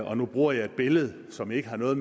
og nu bruger jeg et billede som ikke har noget